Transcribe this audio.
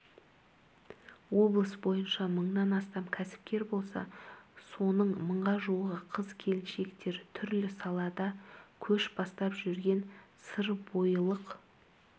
облыс бойынша мыңнан астам кәсіпкер болса соның мыңға жуығы қыз-келіншектер түрлі салада көш бастап жүрген сырбойылық